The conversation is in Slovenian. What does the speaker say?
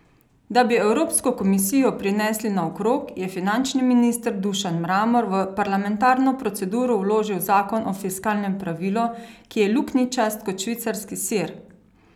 Da bi Evropsko komisijo prinesli naokrog, je finančni minister Dušan Mramor v parlamentarno proceduro vložil zakon o fiskalnem pravilu, ki je luknjičast kot švicarski sir.